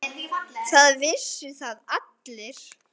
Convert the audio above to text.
Það vissu það allir.